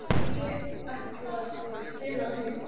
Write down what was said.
Ég ætlaði sko að stela þeim.